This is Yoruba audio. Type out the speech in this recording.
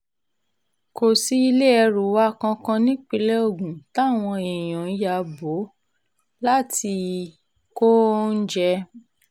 kò sí ilé ẹrù wa kankan nípínlẹ̀ ogun táwọn èèyàn ya bò láti kó oúnjẹ